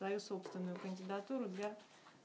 свою собственную кандидатуру для